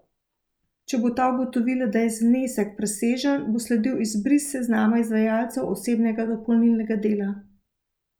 Če bo ta ugotovila, da je znesek presežen, bo sledil izbris s seznama izvajalcev osebnega dopolnilnega dela.